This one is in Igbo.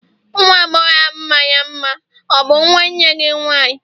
nwa agbọghọ ahụ mara mma, ọ bụ nwanne gị nwanyị?